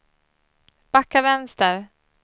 backa vänster